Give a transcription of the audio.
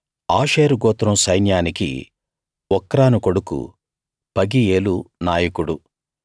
ఆషేరు గోత్రం సైన్యానికి ఒక్రాను కొడుకు పగీయేలు నాయకుడు